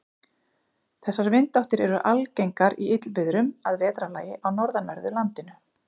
Þessar vindáttir eru algengar í illviðrum að vetrarlagi á norðanverðu landinu.